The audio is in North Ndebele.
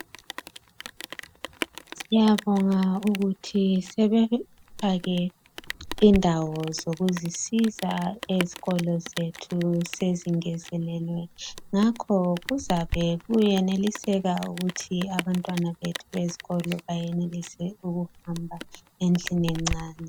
Siyabonga ukuthi sebefake indawo zokuzisiza ezikolo zethu sezingezelelwe, ngakho kuzabe kuyeneliseka ukuthi abantwana bethu bezikolo bayenelise ukuhamba endlini encane.